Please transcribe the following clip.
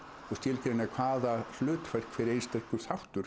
og skilgreina hvaða hlutverk einstakur þáttur